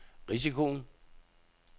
risikoen